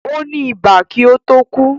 Ó ní ibà kí ó tó kú